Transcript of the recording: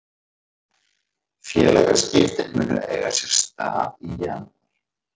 Félagaskiptin munu eiga sér stað í janúar.